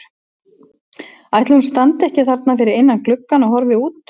Ætli hún standi ekki þarna fyrir innan gluggann og horfi út?